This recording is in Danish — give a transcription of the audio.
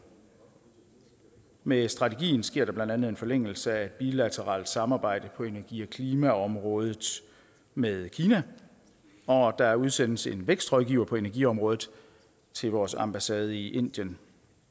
med strategien sker der blandt andet en forlængelse af et bilateralt samarbejde på energi og klimaområdet med kina og der udsendes en vækstrådgiver på energiområdet til vores ambassade i indien